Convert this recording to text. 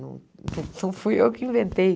Não não fui eu que inventei.